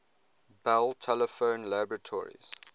bell telephone laboratories